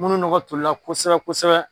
Munnu nɔkɔ tolila kosɛbɛ kosɛbɛ?